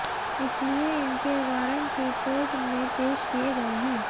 इसलिए इनके वारंट ही कोर्ट में पेश किए गए है